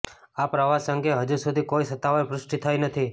આ પ્રવાસ અંગે હજુ સુધી કોઈ સત્તાવાર પુષ્ટિ થઇ નથી